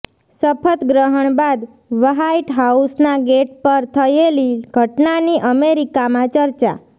શપથગ્રહણ બાદ વ્હાઇટ હાઉસના ગેટ પર થયેલી ઘટનાની અમેરિકામાં ચર્ચા